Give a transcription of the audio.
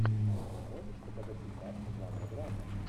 можешь показать фильмас жанра драма